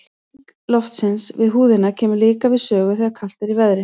Hreyfing loftsins við húðina kemur líka við sögu þegar kalt er í veðri.